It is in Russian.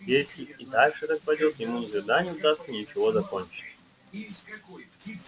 если и дальше так пойдёт ему никогда не удастся ничего закончить